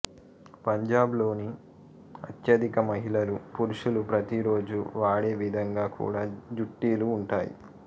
పంజాబ్ లోని అత్యధిక మహిళలు పురుషులు ప్రతీ రోజూ వాడే విధంగా కూడా జుట్టీలు ఉంటాయి